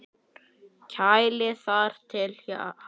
Kælið þar til hart.